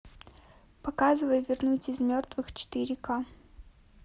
показывай вернуть из мертвых четыре к